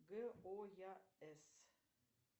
гояс